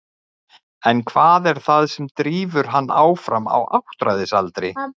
En hvað er það sem drífur hann áfram á áttræðisaldri?